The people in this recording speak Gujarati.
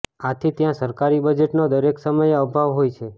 આથી ત્યાં સરકારી બજેટનો દરેક સમયે અભાવ હોય છે